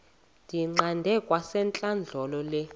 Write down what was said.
ndiyiqande kwasentlandlolo le